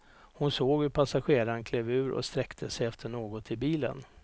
Hon såg hur passageraren klev ur och sträckte sig efter något i bilen.